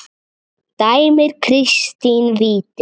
Dæmir Kristinn víti?